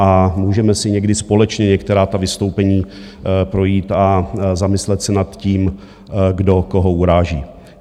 A můžeme si někdy společně některá ta vystoupení projít a zamyslet se nad tím, kdo koho uráží.